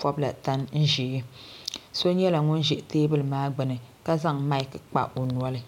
pobla tan ʒee so nyɛla ŋun ʒɛ teebuli maa gbini ka zaŋ maki n kpa o noli.